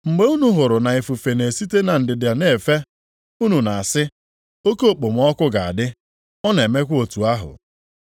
Mgbe unu hụrụ na ifufe na-esite na ndịda na-efe, unu na-asị, Oke okpomọkụ ga-adị, ọ na-emekwa otu ahụ.